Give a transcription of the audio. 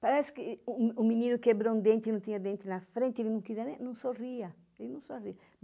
Parece que o o menino quebrou um dente e não tinha dente na frente, ele não queria nem, não sorria, ele não sorria.